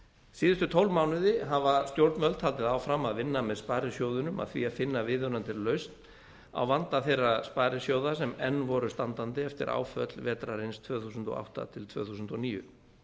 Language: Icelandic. síðustu tólf mánuði hafa stjórnvöld haldið áfram að vinna með sparisjóðunum að því að finna viðunandi lausn á vanda þeirra sparisjóða sem enn voru standandi eftir áföll vetrarins tvö þúsund og átta til tvö þúsund og níu